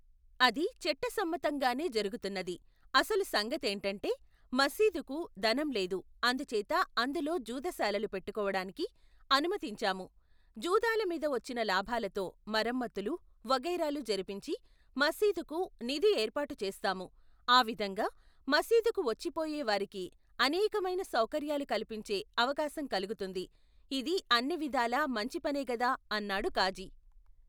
అదీ చట్టసమ్మతంగానే జరుగుతున్నది అసలు సంగతేoటంటే మసీదుకు, ధనం లేదు అందుచేత అందులో జూదశాలలు పెట్టుకోవడానికి అనుమతించాము, జూదాలమీద వచ్చిన లాభాలతో మరమ్మతులు, వగైరాలు జరిపించి మసీదుకు, నిధి ఏర్పాటుచేస్తాము ఆ విధంగా, మసీదుకు వచ్చిపోయే వారికి అనేకమైన సౌకర్యాలు కల్పించే, అవకాశం కలుగుతుంది ఇది అన్నివిధాలా మంచిపనేగదా అన్నాడు కాజీ.